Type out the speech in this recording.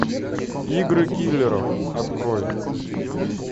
игры киллеров открой